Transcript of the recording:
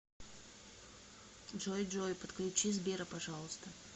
джой джой подключи сбера пожалуйста